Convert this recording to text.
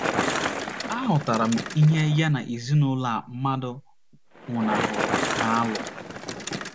Aghọtara m ihe ya na ezinụlọ a mmadụ nwụnahụrụ na - alụ.